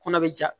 Kɔnɔ bɛ ja